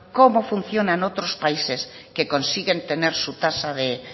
cómo funcionan otros países que consiguen tener su tasa de